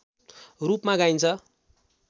रूपमा गाइन्छ